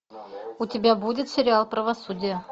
у тебя будет сериал правосудие